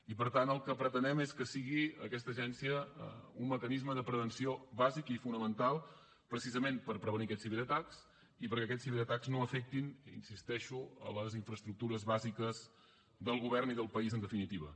i per tant el que pretenem és que sigui aquesta agència un mecanisme de prevenció bàsic i fonamental precisament per prevenir aquests ciberatacs i perquè aquests ciberatacs no afectin hi insisteixo les infraestructures bàsiques del govern i del país en definitiva